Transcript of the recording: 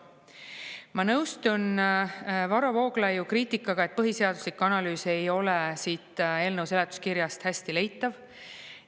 Ma nõustun Varro Vooglaiu kriitikaga, et põhiseaduslik analüüs ei ole siit eelnõu seletuskirjast hästi leitav.